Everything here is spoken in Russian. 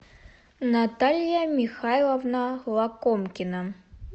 наталья михайловна лакомкина